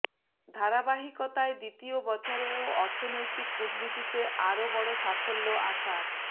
ধারাবাহিকতায় দ্বিতীয় বছরেও অর্থনৈতিক কূটনীতিতে আরও বড় সাফল্য আসার